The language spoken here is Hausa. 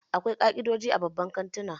Akwai ka'idoji a babban kantuna